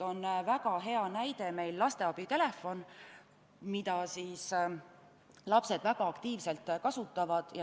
Väga hea näide on meil lasteabitelefon, mida lapsed väga aktiivselt kasutavad.